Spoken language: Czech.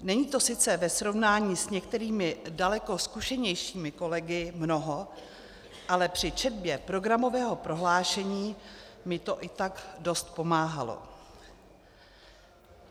Není to sice ve srovnání s některými daleko zkušenějšími kolegy mnoho, ale při četbě programového prohlášení mi to i tak dost pomáhalo.